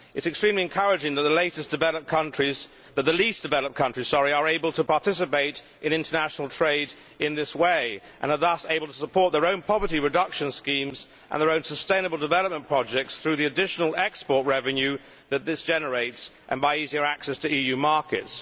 It is extremely encouraging that the least developed countries are able to participate in international trade in this way and are thus able to support their own poverty reduction schemes and their own sustainable development projects through the additional export revenue that this generates and by easier access to EU markets.